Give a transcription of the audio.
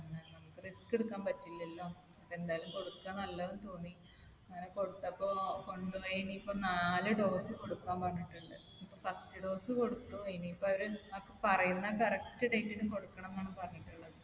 risk എടുക്കാൻ പറ്റില്ലല്ലോ. അപ്പൊ എന്തായാലും കൊടുക്ക നല്ലതെന്ന് തോന്നി. അങ്ങനെ കൊടുത്തപ്പൊ കൊണ്ട് പോയി ഇനി ഇപ്പൊ നാല് dose കൊടുക്കാൻ പറഞ്ഞിട്ടുണ്ട്. ഇപ്പൊ first dose കൊടുത്തു. ഇനി ഇപ്പൊ അവർ പറയുന്ന correct date ന് കൊടുക്കണം എന്നാണ് പറഞ്ഞിട്ടുള്ളത്.